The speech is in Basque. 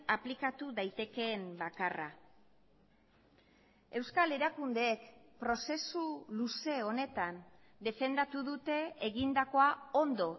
aplikatu daitekeen bakarra euskal erakundeek prozesu luze honetan defendatu dute egindakoa ondo